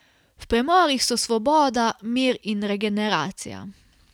V premorih so svoboda, mir in regeneracija.